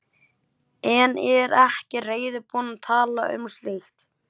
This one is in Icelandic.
En er ekki reiðubúin að tala um slíkt.